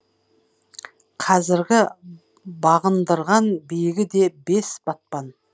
қазіргі бағындырған биігі де бес батпан